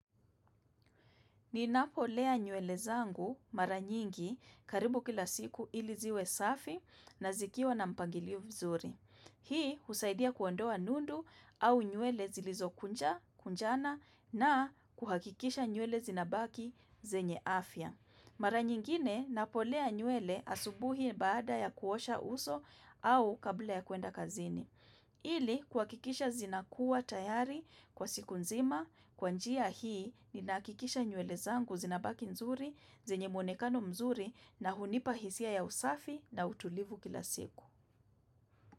Ninapolea nywele zangu mara nyingi karibu kila siku iliziwe safi na zikiwa na mpangilio vizuri. Hii husaidia kuondoa nundu au nywele zilizokunja, kunjana na kuhakikisha nywele zinabaki zenye afya. Mara nyingine napolea nywele asubuhi baada ya kuosha uso au kabla ya kuenda kazini. Ili kuakikisha zinakuwa tayari kwa siku nzima kwa njia hii ni nakikisha nywele zangu zinabaki nzuri, zenye mwonekano mzuri na hunipa hisia ya usafi na utulivu kila siku.